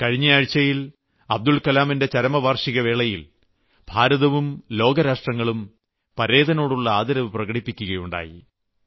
കഴിഞ്ഞയാഴ്ചയിൽ അബ്ദുൽകലാമിന്റെ ചരമവാർഷികവേളയിൽ ഭാരതവും ലോകരാഷ്ട്രങ്ങളും പരേതനോടുള്ള ആദരവ് പ്രകടിപ്പിക്കുകയുണ്ടായി